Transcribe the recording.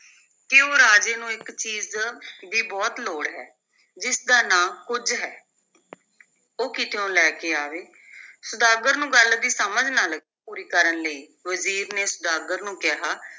ਕਿ ਉਹ ਰਾਜੇ ਨੂੰ ਇਕ ਚੀਜ਼ ਦੀ ਬਹੁਤ ਲੋੜ ਹੈ, ਜਿਸ ਦਾ ਨਾਂ ਕੁੱਝ ਹੈ ਉਹ ਕਿਤਿਓਂ ਲੈ ਕੇ ਆਵੇ ਸੁਦਾਗਰ ਨੂੰ ਗੱਲ ਦੀ ਸਮਝ ਨਾ ਲੱ~ ਪੂਰੀ ਕਰਨ ਲਈ ਵਜ਼ੀਰ ਨੇ ਸੁਦਾਗਰ ਨੂੰ ਕਿਹਾ